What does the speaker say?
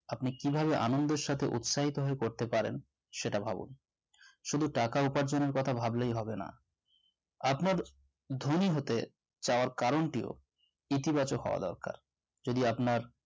আপনি কিভাবে আনন্দের সাথে উৎসাহিত হয়ে পড়তে পারেন সেটা ভাবুন শুধু টাকা উপার্জন করাটা ভাবলে হবে না আপনার ধনী হতে চাওয়ার কারণটি ও ইতিবাচক হওয়া দরকার যদি আপনার